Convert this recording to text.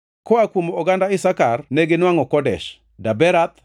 koa kuom oganda Isakar neginwangʼo Kedesh, Daberath,